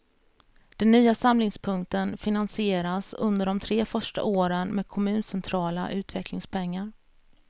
Den nya samlingspunkten finansieras under de tre första åren med kommuncentrala utvecklingspengar.